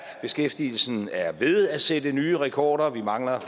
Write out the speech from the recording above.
beskæftigelsen er ved at sætte nye rekorder vi mangler